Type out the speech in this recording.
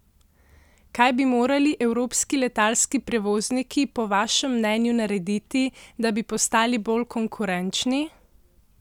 Kaj bi morali evropski letalski prevozniki po vašem mnenju narediti, da bi postali bolj konkurenčni?